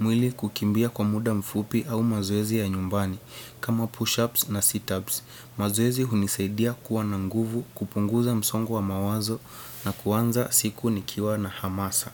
mwili kukimbia kwa muda mfupi au mazoezi ya nyumbani kama push-ups na sit-ups. Mazoezi hunisaidia kuwa na nguvu kupunguza msongo wa mawazo na kuanza siku nikiwa na hamasa.